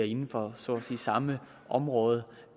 inden for så at sige samme område